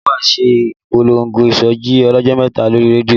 Ìjọ wa ṣe ìpolongo ìsọjí ọlọ́jọ́ méje lórí rédíò